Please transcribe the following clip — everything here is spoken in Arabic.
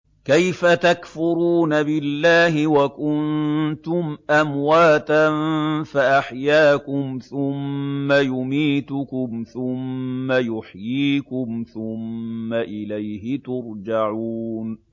كَيْفَ تَكْفُرُونَ بِاللَّهِ وَكُنتُمْ أَمْوَاتًا فَأَحْيَاكُمْ ۖ ثُمَّ يُمِيتُكُمْ ثُمَّ يُحْيِيكُمْ ثُمَّ إِلَيْهِ تُرْجَعُونَ